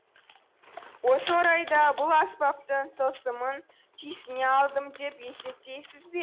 осы орайда бұл аспаптың тылсымын түйсіне алдым деп есептейсіз бе